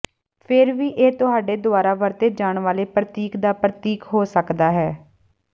ਫਿਰ ਵੀ ਇਹ ਤੁਹਾਡੇ ਦੁਆਰਾ ਵਰਤੇ ਜਾਣ ਵਾਲੇ ਪ੍ਰਤੀਕ ਦਾ ਪ੍ਰਤੀਕ ਹੋ ਸਕਦਾ ਹੈ